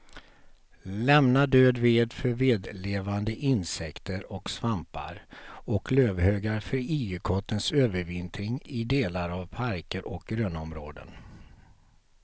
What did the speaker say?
Lämna död ved för vedlevande insekter och svampar och lövhögar för igelkottens övervintring i delar av parker och grönområden.